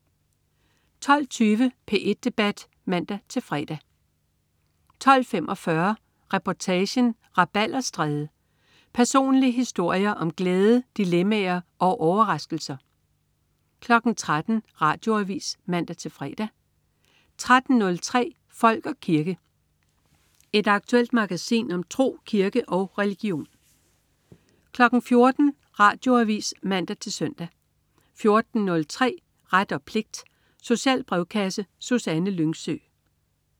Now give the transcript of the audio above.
12.20 P1 Debat (man-fre) 12.45 Reportagen: Rabalderstræde. Personlige historier om glæde, dilemmaer og overraskelser 13.00 Radioavis (man-fre) 13.03 Folk og kirke. Et aktuelt magasin om tro, kirke og religion 14.00 Radioavis (man-søn) 14.03 Ret og pligt. Social brevkasse. Susanne Lyngsø